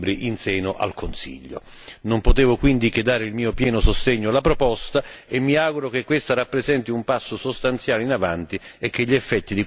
Non potevo quindi che dare il mio pieno sostegno alla proposta e mi auguro che questa rappresenti un passo sostanziale in avanti e che gli effetti di queste misure diano i propri frutti il prima possibile.